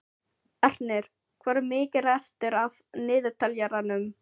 Ernir, hvað er mikið eftir af niðurteljaranum?